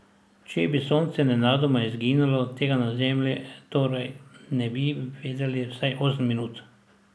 Če bi Sonce nenadoma izginilo, tega na Zemlji torej ne bi vedeli vsaj osem minut.